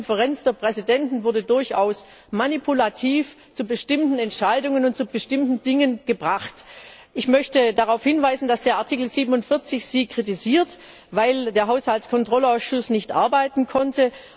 Die Konferenz der Präsidenten wurde durchaus manipulativ zu bestimmten Entscheidungen und zu bestimmten Dingen gebracht. Ich möchte darauf hinweisen, dass Sie in Ziffer 47 kritisiert wurden, weil der Haushaltskontrollausschuss nicht arbeiten konnte.